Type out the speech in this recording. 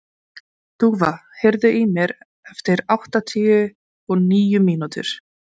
Dúfa, heyrðu í mér eftir áttatíu og níu mínútur.